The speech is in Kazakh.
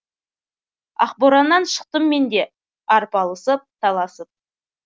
ақ бораннан шықтым мен де арпалысып таласып